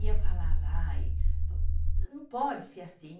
E eu falava, ai, não pode ser assim.